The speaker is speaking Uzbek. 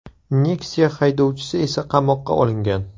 Nexia haydovchisi esa qamoqqa olingan.